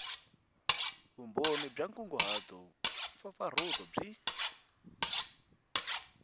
vumbhoni bya nkunguhato mpfapfarhuto byi